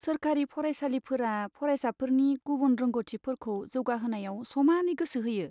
सोरखारि फरायसालिफोरा फरायसाफोरनि गुबुन रोंग'थिफोरखौ जौगाहोनायाव समानै गोसो होयो।